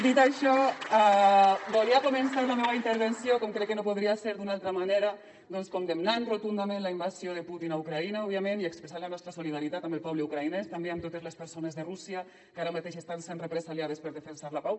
dit això volia començar la meua intervenció com crec que no podria ser d’una altra manera condemnant rotundament la invasió de putin a ucraïna òbviament i expressant la nostra solidaritat amb el poble ucraïnès també amb totes les persones de rússia que ara mateix estan sent represaliades per defensar la pau